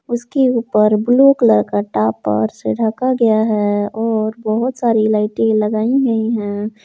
उसके ऊपर blue colour के टापर से ढका गया है और बहुत सारी लाइटें लगाई गई हैं।